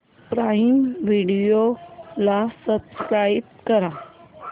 prime video ला subscribe कर